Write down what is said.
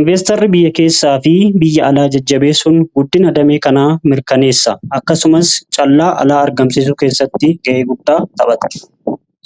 inveestarri biyya keessaa fi biyya alaa jajjabeessun guddina damee kanaa mirkaneessa. akkasumas callaa alaa argamsiisuu keessatti gahee guddaa taphata.